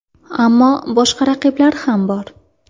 Ammo boshqa raqiblar ham bor.